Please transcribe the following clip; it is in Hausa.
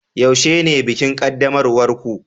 yaushe ne bikin qaddamarwar ku